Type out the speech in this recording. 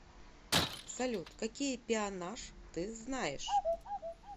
салют какие пеонаж ты знаешь